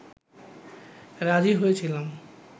রাজি হয়েছিলাম